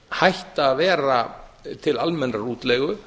hætta að vera til almennrar útleigu